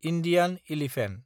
Indian elephant